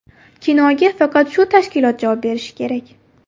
Kinoga faqat shu tashkilot javob berishi kerak.